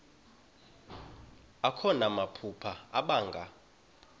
akho namaphupha abanga